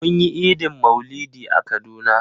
Mun yi Idin maulidi a kaduna.